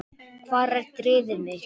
Hvar er drifið mitt?